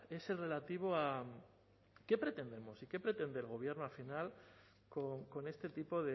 es el relativo a qué pretendemos y qué pretende el gobierno al final con este tipo